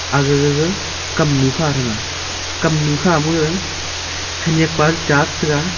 aga gaga kamnu kha thanga kamnu ma khanak pa cha chatai ga.